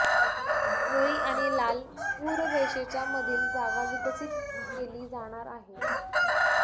निळी आणि लाल पूररेषेच्या मधील जागा विकसित केली जाणार आहे